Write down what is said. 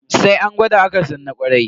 Sai an gwada akan san na kwarai.